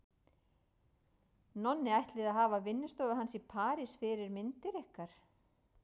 Nonni ætlið að hafa vinnustofu hans í París fyrir myndir ykkar.